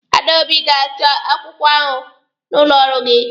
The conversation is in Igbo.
Adaobi ga-achọ akwụkwọ ahụ n'ụlọ ọrụ gị.